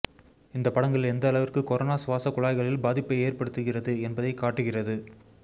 இந்த படங்கள் எந்த அளவிற்கு கொரோனா சுவாச குழாய்களில் பாதிப்பை ஏற்படுத்துகிறது என்பதை காட்டுகிறது